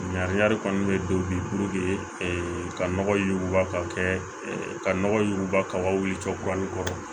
Ɲangini kɔni bɛ don bi ka nɔgɔ yuguba ka kɛ ka nɔgɔ yuguba kaba wuli tɔ